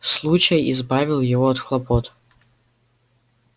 случай избавил его от хлопот